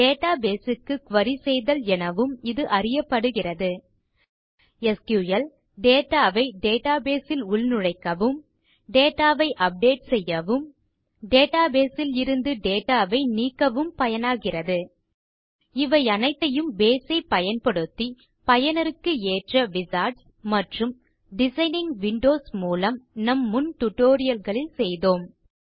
database க்கு குரி செய்தல் எனவும் இது அறியப்படுகிறது எஸ்கியூஎல் டேட்டா ஐ டேட்டாபேஸ் ல் உள்நுழைக்கவும் டேட்டா ஐ அப்டேட் செய்யவும் டேட்டாபேஸ் லிருந்து டேட்டா ஐ நீக்கவும் பயனாகிறது இவையனைத்தையும் பேஸ் ஐப் பயன்படுத்தி பயனருக்கு ஏற்ற விசார்ட்ஸ் மற்றும் டிசைனிங் விண்டோஸ் மூலம் நம் முன் tutorialகளில் செய்தோம்